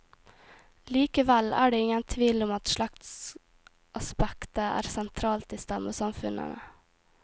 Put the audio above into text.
Likevel er det ingen tvil om at slektsaspektet er sentralt i stammesamfunnene.